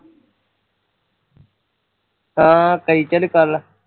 ਹਾਂ ਤੇਈ ਚ ਕਰਲਾ